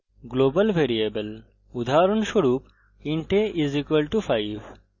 global variable উদাহরণস্বরূপ int a = 5;